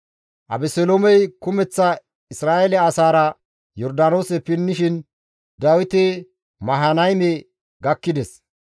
Abeseloomey kumeththa Isra7eele asaara Yordaanoose pinnishin Dawiti Mahanayme gakkides.